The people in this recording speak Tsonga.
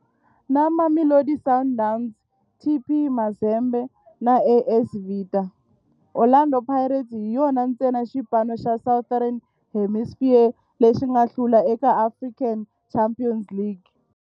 Na Mamelodi Sundowns, TP Mazembe na AS Vita, Orlando Pirates hi yona ntsena xipano xa Southern Hemisphere lexi nga hlula eka African Champions League.